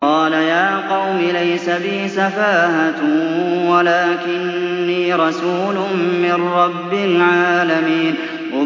قَالَ يَا قَوْمِ لَيْسَ بِي سَفَاهَةٌ وَلَٰكِنِّي رَسُولٌ مِّن رَّبِّ الْعَالَمِينَ